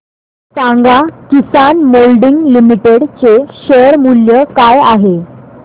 सांगा Kisan Moulding Limited चे share मूल्य काय आहे